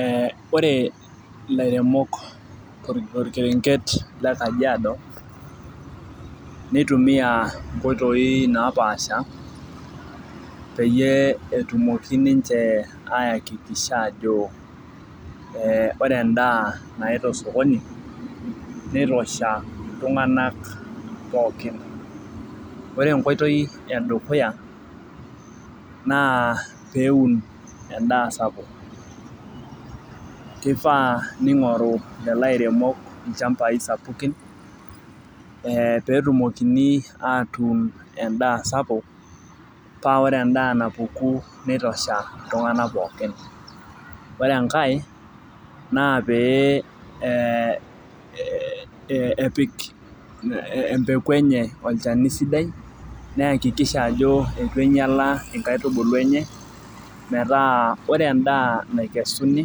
Ee ore ilaremok torkerenket le kajiado, neitumia inkoitoi napaasha, peyie etumoki ninche aayakikisha ajo, ee ore edaa naita osokoni nitosha iltunganak pookin. ore enkoitoi edukuya naa pee eun edaa sapuk. kifaa neing'oru lelo airemok ilchampai sapukin ee peetumokini atuun edaa sapuk paa ore edaa napuki nitosha, iltunganak pookin ore enkae, naa pee epik empeku enye olchani sidai neyakikisha ajo eitu neing'iala inkaitubulu enye. metaa ore edaa naikesuni